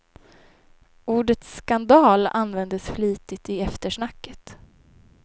Ordet skandal användes flitigt i eftersnacket.